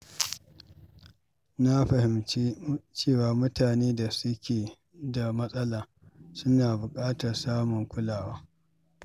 Na fahimci cewa mutanen da suke da matsala suna buƙatar samun kulawa.